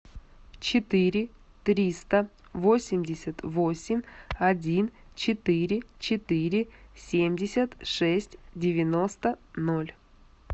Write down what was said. четыре триста восемьдесят восемь один четыре четыре семьдесят шесть девяносто ноль